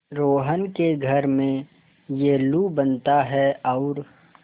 रोहन के घर में येल्लू बनता है और